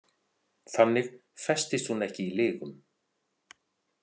Þannig festist hún ekki í lygum.